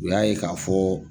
U y'a ye k'a fɔ.